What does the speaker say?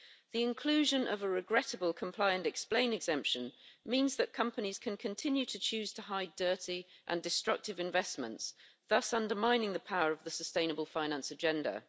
The inclusion of a regrettable comply and explain exemption means that companies can continue to choose to hide dirty and destructive investments, thus undermining the power of the sustainable finance agenda.